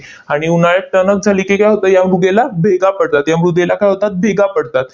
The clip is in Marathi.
आणि उन्हाळ्यात टणक झाली की काय होतं? या मृदेला भेगा पडतात, या मृदेला काय होतात? भेगा पडतात.